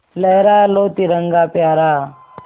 लहरा लो तिरंगा प्यारा